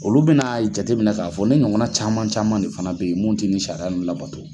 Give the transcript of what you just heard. Olu bɛna jatemina k'a fɔ ne ɲɔgɔnna caman caman de fana bɛ ye mun tɛ nin sariya ninnu labato.